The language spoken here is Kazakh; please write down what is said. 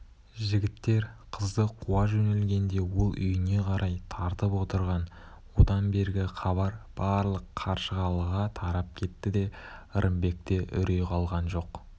жігіттер қызды қуа жөнелгенде ол үйіне қарай тартып отырған одан бергі хабар барлық қаршығалыға тарап кетті де ырымбекте үрей қалған жоқ